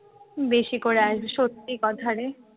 বেশি করে আসবে সত্যি কথা রে